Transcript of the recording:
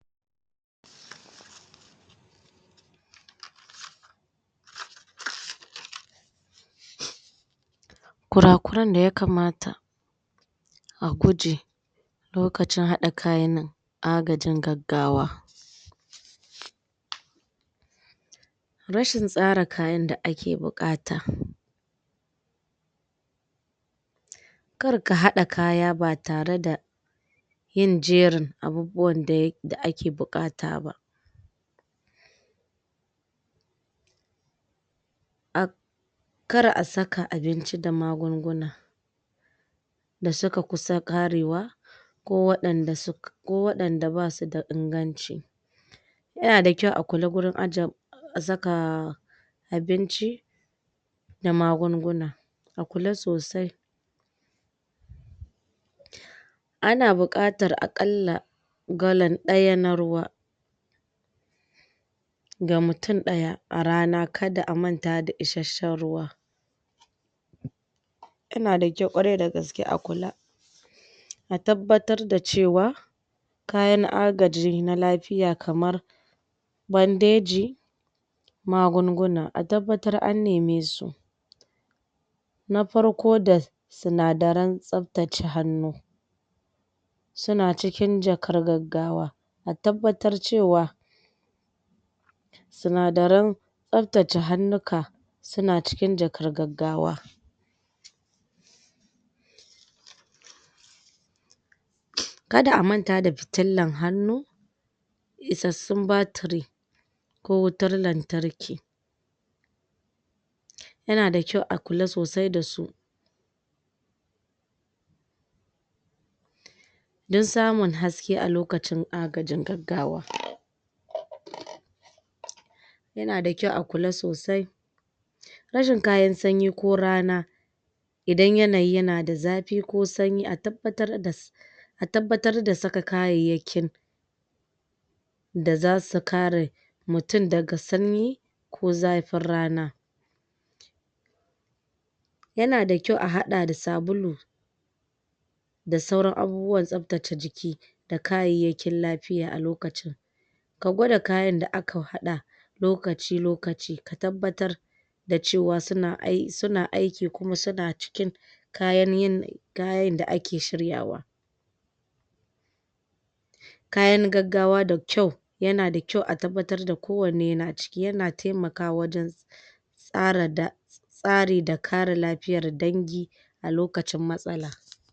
Kura kuren da ya kamata a guje lokacin hada kayan a gajin gaggawa Rashin tsara kayan da ake buƙata kar ka haɗa kaya ba tareda yin jerin abubuwan da ake bukata ba. um Kar a saka abinci da magunguna da suka kusa ƙarewa ko wadanda basu da inganci Yanada kyau a kula wurin ajiye saka abinci da magunguna. A kula sosai ana buƙatar a ƙalla galan daya na ruwa ga mutum daya a rana kada a manta da isasshen ruwa Yana da kyau kwarai da gaske a kula a tabbatar da cewa kayan a gaji na lafiya kamar bandeji magunguna, a tabbatar an neme su Na farko da sinadaren tsaftace hannu suna cikin jakar gaggawa a tabbatar cewa sinadaren tsaftace hannuka suna cikin jakar gaggawa Kada a manta da fitillan hannu isassun batiri ko wutar lantarki yanada kyau a kula da su don samun haske a lokacin gaggawa Yanada kyau a kula sosai rashin kayan sanyi ko rana idan yanayi yana da zafi ko sanyi a tabbatar da a tabbatar da saka kayayyakin da zasu kare mutum daga sanyi ko zafin rana Yanada kyau a hada da sabulu da saurran abubuwan tsaftace jiki da kayayyakin lafiya a lokacin a gwada kayan da aka hada lokaci-lokaci. Ka tabbatar da cewa suna aiki kuma suna cikin kayan da ake shiryawa. Kayan gaggawa da kyau yanada kyau a tabbatar da kowanne yana ciki, yana taimakawa wajen ƙara tsari da kare lafiyar dangi a lokacin matsala.